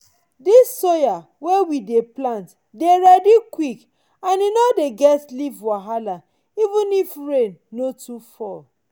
this soya wey we dey plant dey ready quick and e no dey get leaf wahala even if rain no too fall.